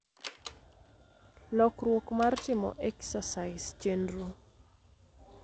lokruok mar timo exercise chenro